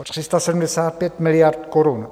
O 375 miliard korun.